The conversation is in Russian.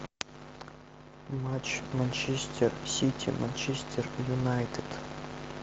матч манчестер сити манчестер юнайтед